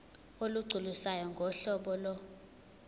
olugculisayo ngohlobo lo